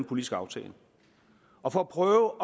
politisk aftale og for at prøve